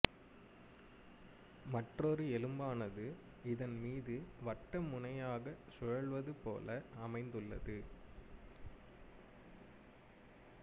மற்றொரு எலும்பானது இதன் மீது வட்டமுனையாக சுழல்வது போல அமைந்துள்ளது